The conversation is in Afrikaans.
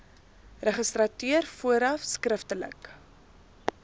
registrateur vooraf skriftelik